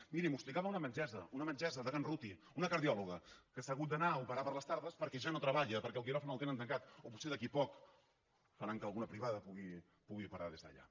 miri m’ho explicava una metgessa una metgessa de can ruti una cardiò loga que se n’ha hagut d’anar a operar per les tardes perquè ja no treballa perquè el quiròfan el tenen tancat o potser d’aquí a poc faran que alguna privada pugui operar des d’allà